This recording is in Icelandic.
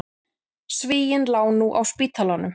Svíinn lá nú á spítalanum.